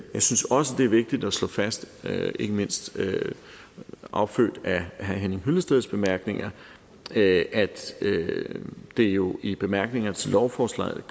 synes også det er vigtigt at slå fast ikke mindst affødt af herre henning hyllesteds bemærkninger at det jo i bemærkningerne til lovforslaget